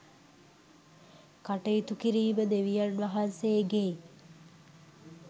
කටයුතු කිරීම දෙවියන් වහන්සේගේ